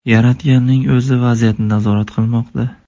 Yaratganning o‘zi vaziyatni nazorat qilmoqda”.